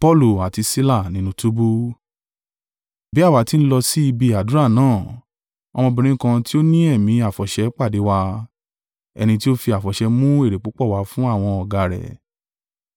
Bí àwa tí n lọ sí ibi àdúrà náà, ọmọbìnrin kan tí o ní ẹ̀mí àfọ̀ṣẹ, pàdé wa, ẹni tí ó fi àfọ̀ṣẹ mú èrè púpọ̀ wá fún àwọn ọ̀gá rẹ̀.